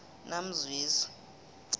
namzwezi